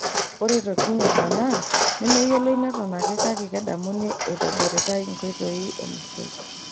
Ore tokitin emaana nemeyioloi neton ake kake kedamuni eitobiratai nkoitoi emusoi.